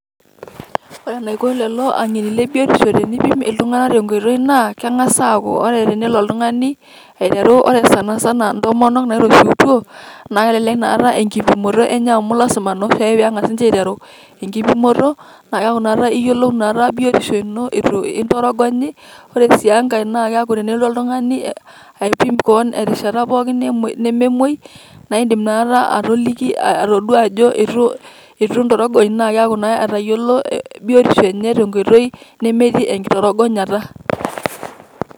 ore enaiko tenipim iltung'anak naa ore sana sana intomonok nairoshiwutuo, naa ilasima enkipimoto enye amu keku iyiolou biotisho ino etu kitorogonyi, ore sii engae naa tenelotu oltung'ani aipim kewan terishata pooki nememoi naa idim inakata atayiolo biotisho ino metii engitorogonyata.